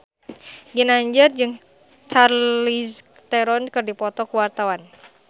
Ginanjar jeung Charlize Theron keur dipoto ku wartawan